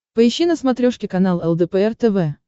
поищи на смотрешке канал лдпр тв